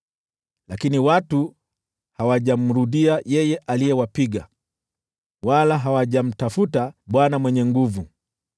Lakini watu hawajamrudia yeye aliyewapiga, wala hawajamtafuta Bwana Mwenye Nguvu Zote.